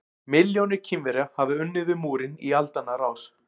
Milljónir Kínverja hafa unnið við múrinn í aldanna rás.